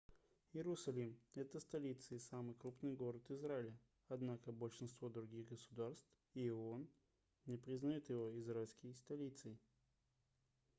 иерусалим это столица и самый крупный город израиля однако большинство других государств и оон не признают его израильской столицей